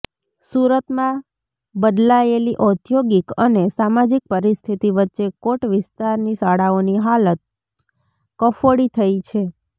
સુરતમાં બદલાયેલી ઔદ્યોગિક અને સામાજિક પરિસ્થિતિ વચ્ચે કોટ વિસ્તારની શાળાઓની હાલત કફોડી થઇ છે